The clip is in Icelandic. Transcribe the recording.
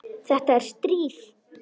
Þetta er stríð!